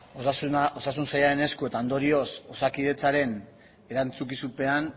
osasun sailaren esku eta ondorioz osakidetzaren erantzukizunean